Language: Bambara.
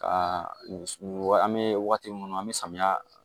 Ka nin wa an me waati minnu an mɛ samiya